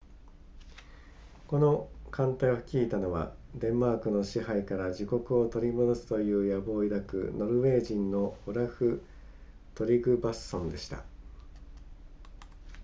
この艦隊を率いたのはデンマークの支配から自国を取り戻すという野望を抱くノルウェー人のオラフトリグヴァッソンでした